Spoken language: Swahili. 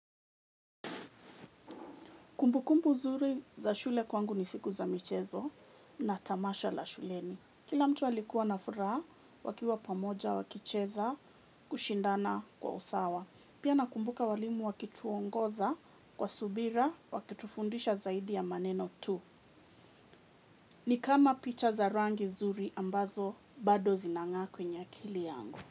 Kumbu kumbu nzuri za shule kwangu ni siku za michezo na tamasha la shuleni. Kila mtu alikuwa na furaha wakiwa pamoja wakicheza kushindana kwa usawa. Pia nakumbuka walimu wakituongoza kwa subira wakitufundisha zaidi ya maneno tu. Ni kama picha za rangi nzuri ambazo bado zinang'aa kwenye akili yangu.